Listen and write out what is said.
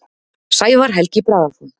Sævar Helgi Bragason.